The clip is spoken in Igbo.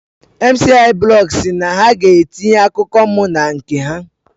Mciiblog SI na ha ga etinye akụkọ m na nke ha